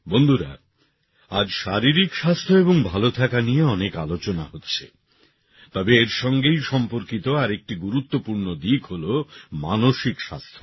বন্ধুরা আজ শারীরিক স্বাস্থ্য এবং ভালো থাকা নিয়ে অনেক আলোচনা হচ্ছে তবে এর সঙ্গেই সম্পর্কিত আরেকটি গুরুত্বপূর্ণ দিক হল মানসিক স্বাস্থ্য